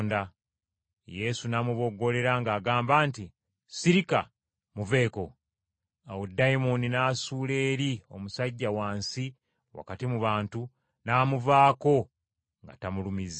Yesu n’amuboggolera ng’agamba nti, “Sirika! Muveeko!” Awo dayimooni n’asuula eri omusajja wansi wakati mu bantu, n’amuvaako nga tamulumizza.